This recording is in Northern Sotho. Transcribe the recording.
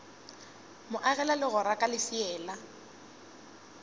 mo agela legora ka lefeela